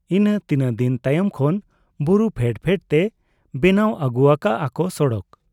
ᱤᱱᱟᱹ ᱛᱤᱱᱟᱹᱜ ᱫᱤᱱ ᱛᱟᱭᱚᱢ ᱠᱷᱚᱱ ᱵᱩᱨᱩ ᱯᱷᱮᱰ ᱯᱷᱮᱰ ᱛᱮ ᱵᱮᱱᱟᱣ ᱟᱹᱜᱩ ᱟᱠᱟᱜ ᱟ ᱠᱚ ᱥᱚᱲᱚᱠ ᱾